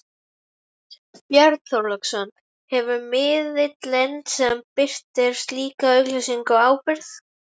Björn Þorláksson: Hefur miðillinn sem birtir slíka auglýsingu ábyrgð?